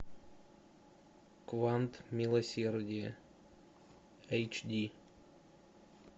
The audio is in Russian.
квант милосердия эйч ди